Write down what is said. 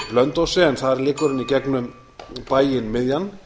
blönduósi en þar liggur hann í gegnum bæinn miðjan